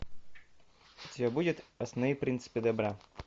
у тебя будет основные принципы добра